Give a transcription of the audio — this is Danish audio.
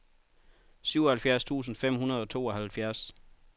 syvoghalvfjerds tusind fem hundrede og tooghalvfjerds